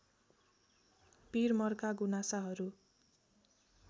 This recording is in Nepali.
पिर मर्का गुनासाहरू